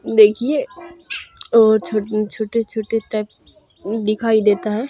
देखिए और छोटे छोटे टाइप दिखाई देता है।